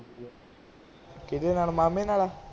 ਕਿਹਦੇ ਨਾਲ? ਮਾਮੇ ਨਾਲ?